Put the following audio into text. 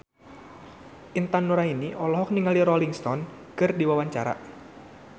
Intan Nuraini olohok ningali Rolling Stone keur diwawancara